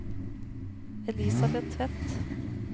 Elisabeth Tvedt